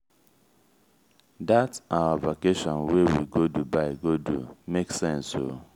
dat our vacation wey we go dubai go do make sense o.